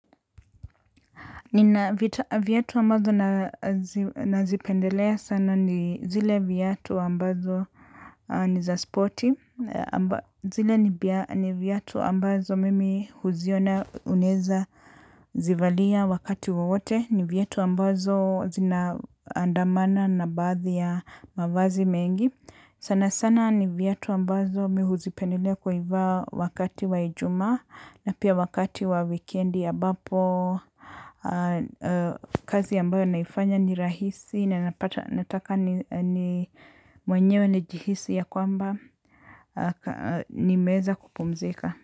Nina viyatu ambazo nazipendelea sana ni zile viyatu wambazo ni za spoti, zile ni viyatu wambazo mimi huziona uneza zivalia wakati wowote, ni viyatu wambazo zinaandamana na bathi ya mavazi mengi. Sana sana ni viyatu ambazo mi huzipendelea kuivaa wakati wa ijuma na pia wakati wa wikendi ya abapo. Kazi ambayo naifanya ni rahisi na nataka ni mwenyewe nijihisi ya kwamba nimezakupumzika.